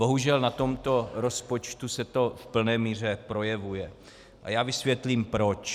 Bohužel na tomto rozpočtu se to v plné míře projevuje a já vysvětlím proč.